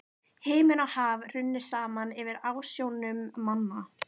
Himinn og haf runnu saman fyrir ásjónum manna.